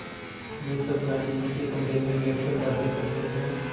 वे सब गाँधी जी के कमरे में बैठकर बातें करते हैं